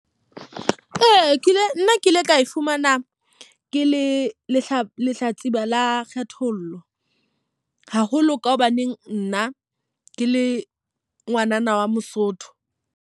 Ee, ki le nna ke ile ka e fumana ke le lehlatsipa la kgethollo. Haholo ka hobaneng nna ke le ngwanana wa Mosotho.